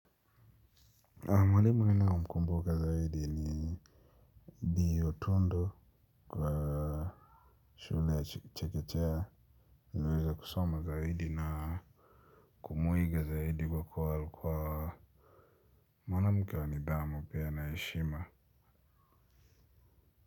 Mwalimu ninao mkumbuka zaidi ni ni otundu kwa shule ya chekechea, niliyoweza kusoma zaidi na kumuiga zaidi kwa kuwa alikuwa mwanamke wa nidhamu pia na heshima.